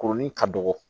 Kurunin ka dɔgɔ